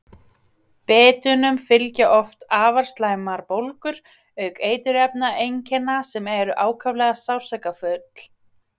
Bitunum fylgja oft afar slæmar bólgur auk eitrunareinkenna sem eru ákaflega sársaukafull.